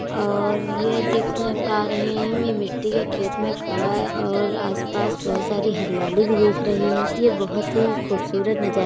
और ये दिख्र पा रहे हैं हम ये मिट्टी के खेत में खड़ा है और आसपास बहोत सारी हरियाली भी दिख रही है। ये बहोत ही खुबसूरत नजा --